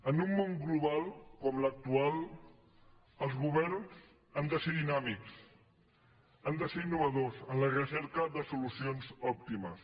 en un món global com l’actual els governs han de ser dinàmics han de ser innovadors en la recerca de solucions òptimes